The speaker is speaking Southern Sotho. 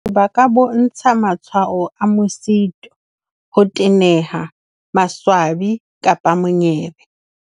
Ba ka bontsha matshwao a mosito, ho teneha, maswabi kapa monyebe.